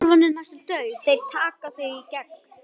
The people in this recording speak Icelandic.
Þeir taka þig í gegn!